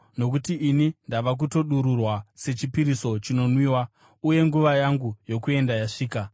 Nokuti ini ndava kutodururwa sechipiriso chinonwiwa, uye nguva yangu yokuenda yasvika.